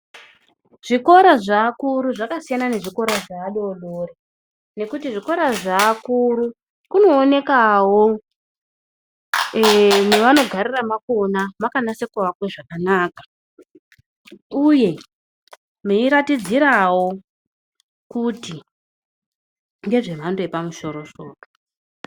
Zvikora zveakuru zvakasiyana nezvikora adodori. Ngekuti zvikora zveakuru kunoonekawo eeh mwavanogarira mwakona mwakanasa kuakwa zvakanaka. Uye meiratidzirawo kuti ngezvemhando yepamusoro soro.